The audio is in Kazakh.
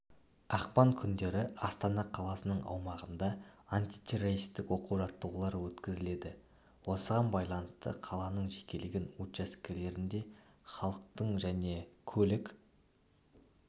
ақпан күндері астана қаласының аумағында антитеррористік оқу-жаттығулар өткізіледі осыған баланысты қаланың жекелеген учаскелерінде халықтың және көлік